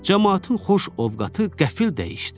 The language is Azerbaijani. Camaatın xoş ovqatı qəfil dəyişdi.